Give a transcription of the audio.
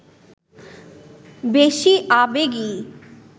বেশি আবেগী